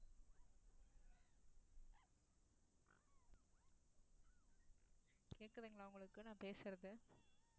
கேக்குதுங்களா உங்களுக்கு நான் பேசுறது